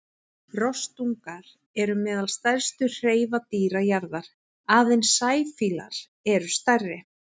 Rostungar eru meðal stærstu hreifadýra jarðar, aðeins sæfílar eru stærri.